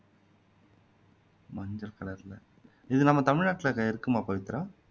மஞ்சள் கலர்ல இது நம்ம தமிழ் நாட்டுல இருக்குமா பவித்ரா